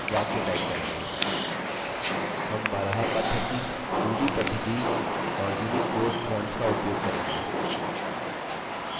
हम baraha पद्धति nudi पद्धति और unicode fonts का उपयोग करेंगे हम अन्ततः फाइल को सेव करेंगे